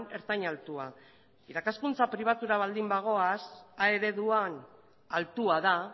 ertain altua irakaskuntza pribatura baldin bagoaz a ereduan altua da